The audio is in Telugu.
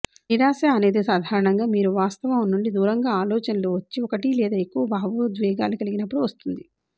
నిరాశ అనేది సాధారణంగా మీరు వాస్తవం నుండి దూరంగా ఆలోచనలు వచ్చి ఒకటి లేదా ఎక్కువ భావోద్వేగాలు కలిగినపుడు వస్తుంది